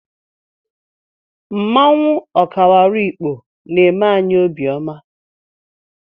Mmanwụ Okawaru Ikpo na-eme anyị obiọma.